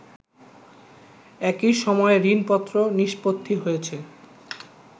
একই সময়ে ঋণপত্র নিষ্পত্তি হয়েছে